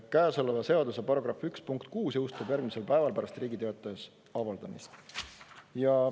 Käesoleva seaduse § 1 punkt 6 jõustub järgmisel päeval pärast Riigi Teatajas avaldamist.